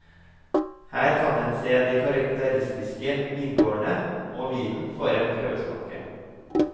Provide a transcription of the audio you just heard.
Her kan en se de karakteristiske vingårdene, og vinen får en prøvesmake.